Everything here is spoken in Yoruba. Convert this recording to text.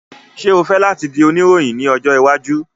Ṣe o fẹ lati di onirohin ni ojo iwaju?